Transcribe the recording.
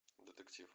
детектив